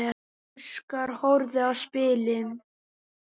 Óskar horfði á spilin.